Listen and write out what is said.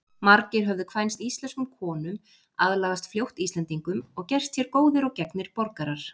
Margir höfðu kvænst íslenskum konum, aðlagast fljótt Íslendingum og gerst hér góðir og gegnir borgarar.